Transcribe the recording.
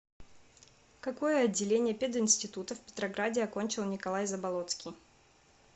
какое отделение пединститута в петрограде окончил николай заболоцкий